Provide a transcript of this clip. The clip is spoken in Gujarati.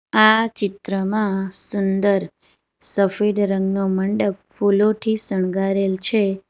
આ ચિત્રમાં સુંદર સફેડ રંગનો મંડપ ફૂલોઠી શણગારેલ છે.